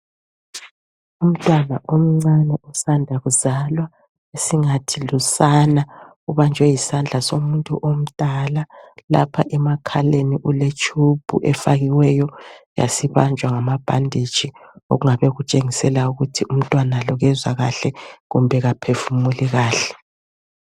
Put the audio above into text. Umntwana omncane osanda kuzalwa esingathi lusana, ubanjwe yisandla somuntu omdala, lapha emakhaleni kuletshubhu efakiweyo, yasibanjwa ngamabhanditshi, okungabe kutshengisela ukuthi umntwala lo kezwa kahle , kumbe kaphefumuli kahle.